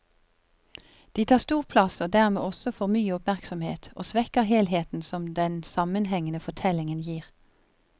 De tar stor plass og dermed også for mye oppmerksomhet, og svekker helheten som den sammenhengende fortellingen gir.